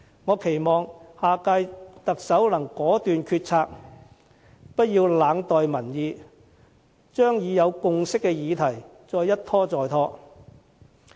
我期望下屆特首能果斷決策，不要冷待民意，將已有共識的議題一拖再拖。